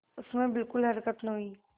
उसमें बिलकुल हरकत न हुई